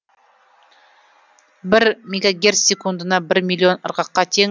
бір мегогерц секундына бір миллион ырғаққа тең